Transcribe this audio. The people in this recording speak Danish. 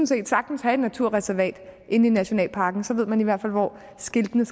set sagtens have et naturreservat inde i nationalparken så ved man i hvert fald hvor skiltene